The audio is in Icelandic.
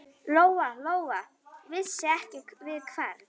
Lóa-Lóa vissi ekki við hvern.